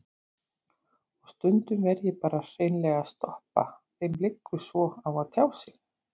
Og stundum verð ég bara hreinlega að stoppa, þeim liggur svo á að tjá sig.